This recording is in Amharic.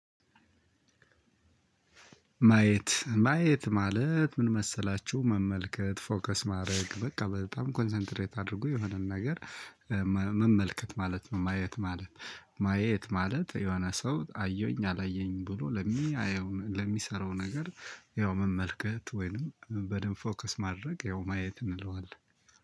ማየት ማየት ማለት ምን? መሰላችሁ መመልከት ፎከስ ማድረግ በቃ በጣም ኮንሰንትሬት አድርጎ የሆነን ነገር መመልከት ማለት ነው። ማየት ማለት ማየት ማለት የሆነ ሰው አየሁኝ አላየኝም ብሎ። ለሚሰራው ነገር ያው መመልከት ወይንም በደንብ ፎከስ ማድረግ ያው ማየት እንለዋለን።